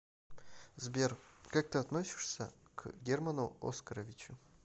сбер как ты относишься к герману оскаровичу